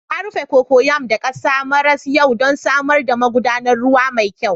Na rufe cocoyam da ƙasa maras kyau don samar da magudanar ruwa mai kyau.